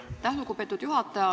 Aitäh, lugupeetud juhataja!